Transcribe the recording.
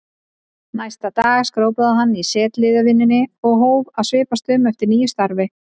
Næsta dag skrópaði hann í setuliðsvinnunni og hóf að svipast um eftir nýju starfi.